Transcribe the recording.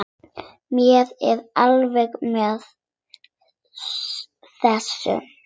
Mér er alvara með þessu.